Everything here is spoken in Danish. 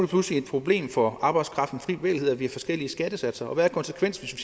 pludselig et problem for arbejdskraftens frie bevægelighed at vi har forskellige skattesatser og hvad er konsekvensen